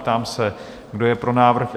Ptám se, kdo je pro návrh?